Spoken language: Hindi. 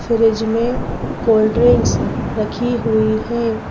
फ्रिज मेंकोल्ड ड्रिंक्स रखी हुई हैं।